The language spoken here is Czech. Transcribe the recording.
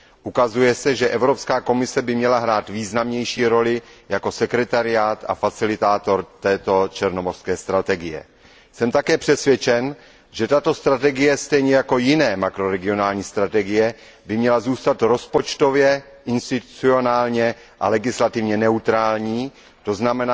Ukazuje se, že Evropská komise by měla hrát významnější roli jako sekretariát a facilitátor této strategie pro Černé moře. Jsem také přesvědčen, že tato strategie stejně jako jiné makroregionální strategie by měla zůstat rozpočtově, institucionálně a legislativně neutrální, tzn.,